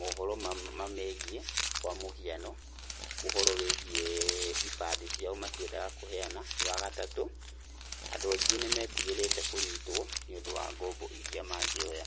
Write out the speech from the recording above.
mohoro mamegiĩ kwa mũhiano ũhoro wígiĩ ibande ciao matiendaga kũheana, wa gatatũ andũ angĩ nĩ metigĩrite kũnyitwo nĩũndũ wa gombo irĩa mangĩoya.